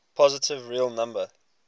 positive real number